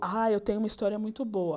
Ah, eu tenho uma história muito boa.